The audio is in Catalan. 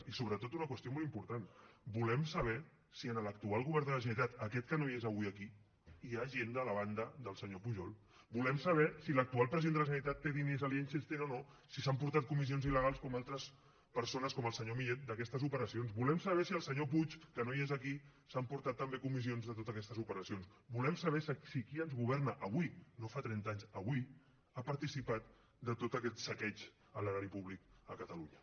i sobretot una qüestió molt important volem saber si en l’actual govern de la generalitat aquest que no hi és avui aquí hi ha gent de la banda del senyor pujol volem saber si l’actual president de la generalitat té diners a liechtenstein o no si s’ha emportat comissions il·legals com altres persones com el senyor millet d’aquestes operacions volem saber si el senyor puig que no hi és aquí s’ha emportat també comissions de totes aquestes operacions volem saber si qui ens governa avui no fa trenta anys avui ha participat de tot aquest saqueig a l’erari públic a catalunya